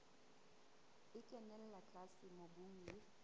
e kenella tlase mobung le